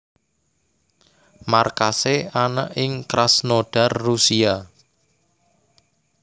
Markasé ana ing Krasnodar Rusia